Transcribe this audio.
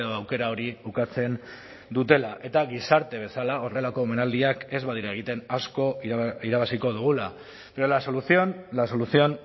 aukera hori ukatzen dutela eta gizarte bezala horrelako omenaldiak ez badira egiten asko irabaziko dugula pero la solución la solución